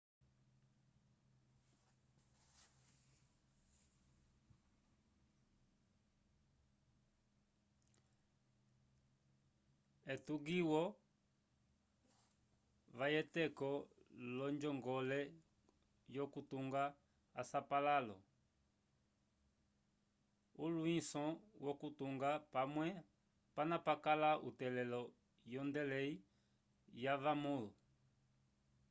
etugiwo vacweteco lojongoleyokutunga a sapalalo ulwinso wokutunga pamwe pana pakala utelelo yo ngendelei ya vamul